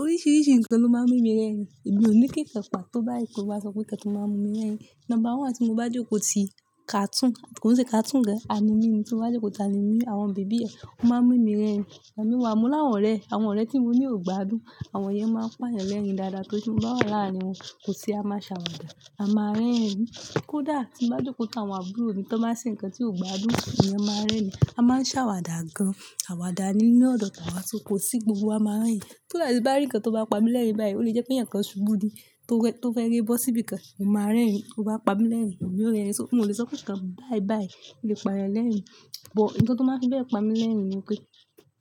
Oríṣiríṣi nǹkan ló máa ń mú mi rẹ́rìn. Èmi ò ní kíǹkan pa tó bá yí pé mo má sọ pé ǹkan tí ó máa ń mú mi rẹ́rìn. Number one tí mo bá jókòó ti kàtún, kò sí kàtún gan-an, àní mi ni tí mo bá jókòó tàá ni mí, àwọn bèbí ẹ, ó máa ń mú mi rẹ́rìn. Ẹni wá mú láwọn ọ̀rẹ́, àwọn ọ̀rẹ́ tí mo ní ò gbadùn, àwọn yẹn máa ń pà yàn lẹ́rìn dáadáa tori pe ti mo bá wà láàárín wọn, kò sí a máa ṣàwàdà, a máa ń rẹ́rìn. Kódà tí mo bá jókòó tà á àwọn àbúrò mi tó máa ń ṣe ǹkan tí ò gbadùn ni a máa ń rẹ́rìn, a máa ń ṣàwàdà gan-an. Àwàdà nínú ọ̀dọ̀ tàwa sí, kò sí gbogbo wa máa ń rẹ́rìn. Ko sa ti mo bá rí ǹkan tó bá pa mí lẹ́rìn báyìí, ó lè jẹ́ pé ǹkan Ṣubú ni tó fẹ́ re bọ́ síbí kan, mó máa ń rẹ́rìn. Bo bá pa mí lẹ́rìn, emi yo rẹ́rìn. Mo lè sọ pé ǹkan bayi bayi, lè pa yan lẹ́rìn. But ǹkan tó máa n fi be pa mí lẹ́rìn ni pé